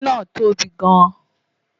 ́dígí ńáà tóbi gan-n